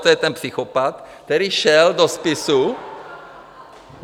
To je ten psychopat, který šel do spisu.